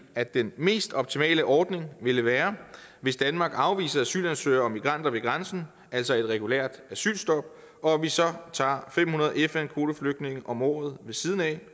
at den mest optimale ordning ville være hvis danmark afviser asylansøgere og migranter ved grænsen altså et regulært asylstop og at vi så tager fem hundrede fn kvoteflygtninge om året ved siden af